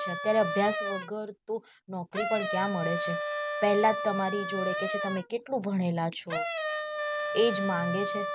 અત્યારે અભ્યાસ વગર તો નોકરી પણ ક્યાં મળે છે પહેલા જ તમારી જોડે કહે છે તમે કેટલું ભણેલા છો એજ માંગે છે.